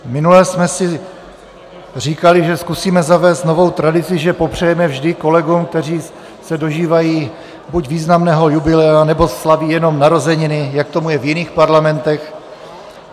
Minule jsme si říkali, že zkusíme zavést novou tradici, že popřejeme vždy kolegům, kteří se dožívají buď významného jubilea, nebo slaví jenom narozeniny, jak tomu je v jiných parlamentech.